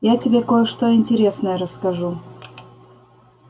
я тебе кое-что интересное расскажу